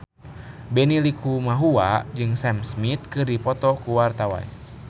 Benny Likumahua jeung Sam Smith keur dipoto ku wartawan